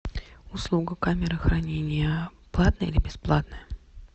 услуга камера хранения платная или бесплатная